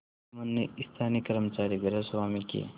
जुम्मन ने स्थानीय कर्मचारीगृहस्वामीके